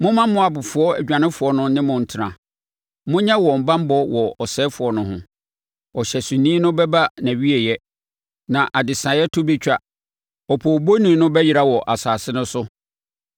Momma Moabfoɔ adwanefoɔ no ne mo ntena; monyɛ wɔn banbɔ wɔ ɔsɛefoɔ no ho.” Ɔhyɛsoni no bɛba nʼawieeɛ na adesɛeɛ to bɛtwa; opoobɔni no bɛyera wɔ asase no so.